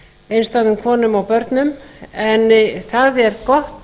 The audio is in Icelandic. einstæðum konum og börnum en það er gott